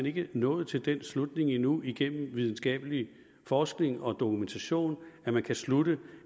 ikke nået til den slutning endnu igennem videnskabelig forskning og dokumentation at man kan slutte